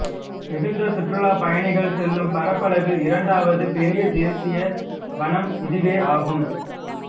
மிகுந்த சுற்றுலாப் பயணிகள் செல்லும் பரப்பளவில் இரண்டாவது பெரிய தேசிய வனம் இதுவே ஆகும் ஆகும்